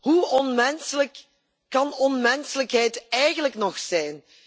Hoe onmenselijk kan onmenselijkheid eigenlijk nog zijn?